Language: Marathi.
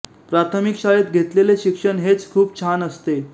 प्राथमिक शाळेत घेतेलेले शिक्षण हेच खूप छान असते